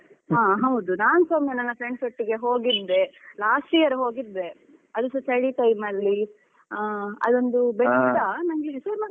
ಹೌದು ನನ್ಸ ಒಮ್ಮೆ ನನ್ friends ಒಟ್ಟಿಗೆ ಹೋಗಿದ್ದೆ. last year ಹೋಗಿದ್ದೆ ಅದುಸಾ ಚಳಿ time ಅಲ್ಲಿ ಅಹ್ ಅದೊಂದು ಬೆಟ್ಟ ಅದ್ರ ಹೆಸರ್.